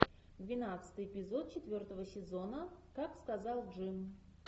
двенадцатый эпизод четвертого сезона как сказал джим